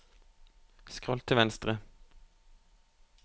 skroll til venstre